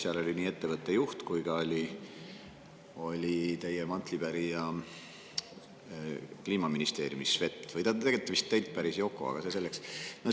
Seal oli kohal nii ettevõtte juht kui ka teie mantlipärija Kliimaministeeriumis Svet või õigemini on see vist Yoko, aga see selleks.